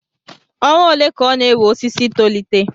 Ọnwa ole ka ọ na-ewe osisi I tolite